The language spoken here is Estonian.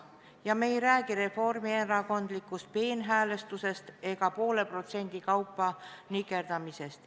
Ja me ei räägi reformierakondlikust peenhäälestusest ega poole protsendi kaupa nikerdamisest.